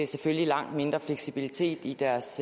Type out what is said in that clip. selvfølgelig langt mindre fleksibilitet i deres